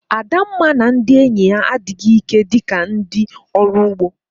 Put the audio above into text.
Adamma na ndị enyi ya adịghị ike dị ka ndị ọrụ ugbo